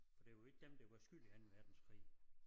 For det jo ikke dem der var skyld i Anden Verdenskrig